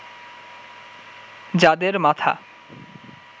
যাদের মাথা